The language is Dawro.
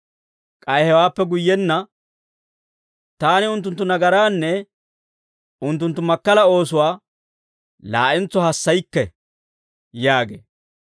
K'ay hewaappe guyyenna, «Taani unttunttu nagaraanne, unttunttu makkala oosuwaa laa'entso hassaykke» yaagee.